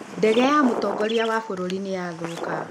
Ndege ya mũtongoria wa bũrũri nĩ yathũka.